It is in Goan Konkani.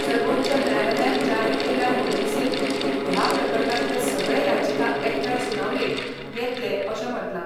सर्वोच्च न्यायालयान जारी केल्ल्या नोटीसेंत ह्या प्रकरणातले सगळे याचिका एकठांय सुनावणेक येतले अशें म्हटला.